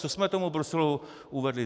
Co jsme tomu Bruselu uvedli?